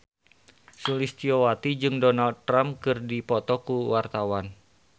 Sulistyowati jeung Donald Trump keur dipoto ku wartawan